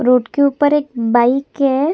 Road के ऊपर एक बाइक है।